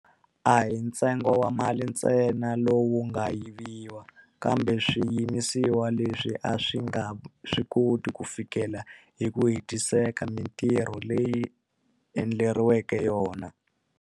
A hi ntsengo wa mali ntsena lowu nga yiviwa, kambe swiyimisiwa leswi a swi nga swi koti ku fikelela hi ku hetiseka mitirho leyi swi endleriweke yona.